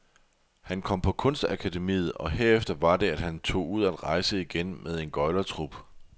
Han kom på kunstakademiet, og herefter var det, at han tog ud at rejse igen med en gøglertrup.